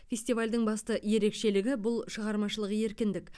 фестивальдің басты ерекшелігі бұл шығармашылық еркіндік